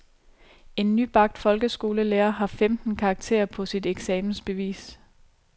En nybagt folkeskolelærer har femten karakterer på sit eksamensbevis.